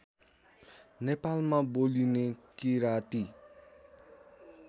नेपालमा बोलिने किराँती